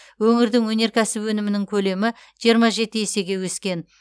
өңірдің өнеркәсіп өнімінің көлемі жиырма жеті есеге өскен